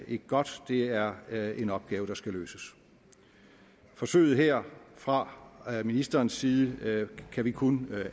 ikke godt det er er en opgave der skal løses forsøget her fra ministerens side kan vi kun